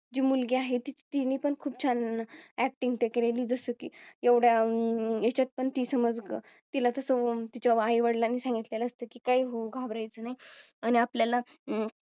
जी मुलगी आहे ती तिने पण खूप छान Acting केलेली. जसं की एवढ्या अं ह्याच्यात पण ती समज. तिला तिच्या आई वडिलां नी सांगितलं असतं कीं काही घाबरायचं नाही आणि आपल्याला अह